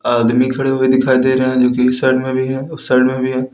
आदमी खड़े हुए दिखाई दे रहे हैं जोकि इस साइड में भी है उस साइड में भी हैं।